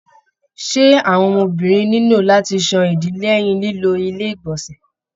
Ṣé àwọn ọmọbìnrin nilo láti sàn ìdí lẹyìn lilo ilé igbọnsẹ.